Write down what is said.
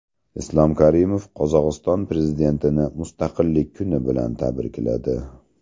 Islom Karimov Qozog‘iston prezidentini Mustaqillik kuni bilan tabrikladi.